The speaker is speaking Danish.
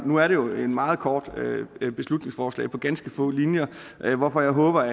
nu er det jo et meget kort beslutningsforslag på ganske få linjer hvorfor jeg håber